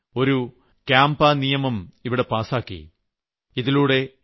ഭാരതസർക്കാർ ഒരു കാമ്പ നിയമം ഈയിടെ പാസ്സാക്കി